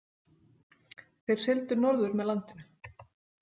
Þeir sigldu norður með landinu.